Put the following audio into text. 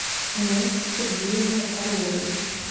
инессе сергеевне орловой